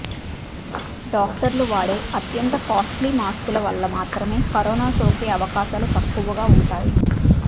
డాక్టర్లు వాడే అత్యంత కాస్ట్లీ మాస్కుల వల్ల మాత్రమే కరోనా సోకే అవకాశాలు తక్కువగా ఉంటాయి